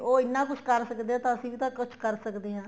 ਉਹ ਇੰਨਾ ਕੁੱਛ ਕਰ ਸਕਦੇ ਏ ਤਾਂ ਅਸੀਂ ਵੀ ਤਾਂ ਕੁੱਛ ਕਰ ਸਕਦੇ ਹਾਂ